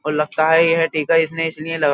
और लगता है यह टीका इसने इसलिए --